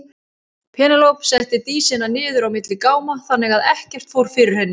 Penélope setti Dísina niður á milli gáma þannig að ekkert fór fyrir henni.